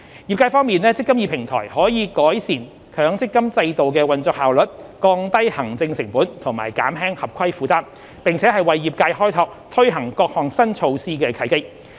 業界方面，"積金易"平台可改善強積金制度的運作效率、降低行政成本和減輕合規負擔，並為業界開拓推行各項新措施的契機。